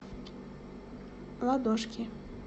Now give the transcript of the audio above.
ладошки